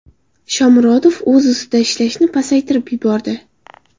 Shomurodov o‘z ustida ishlashni pasaytirib yubordi.